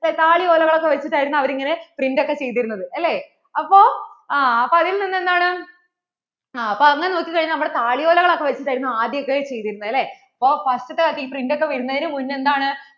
താളിഓലകൾ ഒക്കെ വച്ചിട്ട് ആയിരുന്നു അവർ ഇങ്ങനെ print ഒക്കെ ചെയ്തിരുന്നത് അല്ലേ അപ്പോൾ ആ അതിൽ നിന്നു എന്താണ് ആ അപ്പോ അങ്ങനെ നോക്കി കഴിഞ്ഞാൽ നമ്മള്‍ടെ താളിഓലകൾ ഒക്കെ വച്ചിട്ടായിരുന്നു ആദ്യം ഇതൊക്കെ ചെയ്തിരുന്നേ അല്ലെ അപ്പോൾ first ഈ print ഒക്കെ വരുന്നതിനു മുന്നേ എന്താണ്